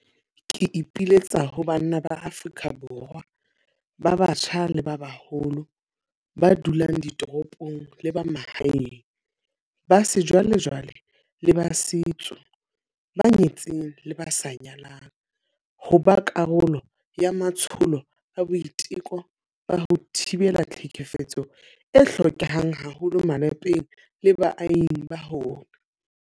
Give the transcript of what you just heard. Ke ipiletsa ho banna ba Afrika Borwa ba batjha le ba baholo, ba dulang ditoropong le ba mahaeng, ba sejwalejwale le ba setso, ba nyetseng le ba sa nyalang, ho ba karolo ya matsholo a boiteko ba ho thibela tlhekefetso a hlokehang haholo malapeng le baahing ba rona.